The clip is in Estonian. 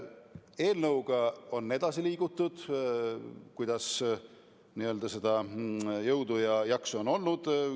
Eelnõuga on edasi liigutud nii, kuidas jõudu ja jaksu on olnud.